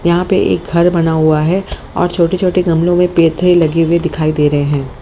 यहां पे एक घर बना हुआ है और छोटे छोटे गमलों में लगे हुए दिखाई दे रहे है।